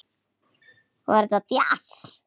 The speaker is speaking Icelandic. Var þetta djass?